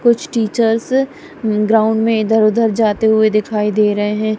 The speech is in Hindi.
कुछ टीचर्स ग्राउंड में इधर उधर जाते हुए दिखाई दे रहे हैं।